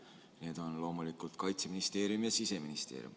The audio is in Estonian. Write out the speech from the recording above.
Need on loomulikult Kaitseministeerium ja Siseministeerium.